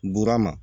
Burama